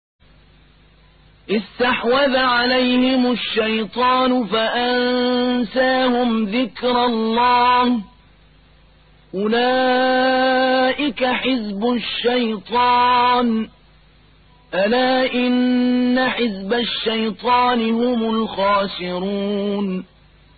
اسْتَحْوَذَ عَلَيْهِمُ الشَّيْطَانُ فَأَنسَاهُمْ ذِكْرَ اللَّهِ ۚ أُولَٰئِكَ حِزْبُ الشَّيْطَانِ ۚ أَلَا إِنَّ حِزْبَ الشَّيْطَانِ هُمُ الْخَاسِرُونَ